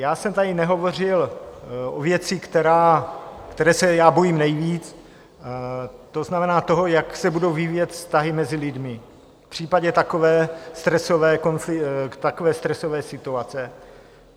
Já jsem tady nehovořil o věci, které se já bojím nejvíc, to znamená toho, jak se budou vyvíjet vztahy mezi lidmi v případě takové stresové situace.